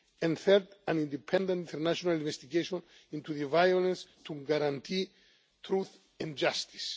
and, third, an independent, international investigation into the violence to guarantee truth and justice.